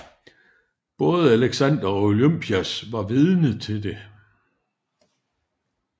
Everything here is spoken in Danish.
Både Alexander og Olympias var vidne til det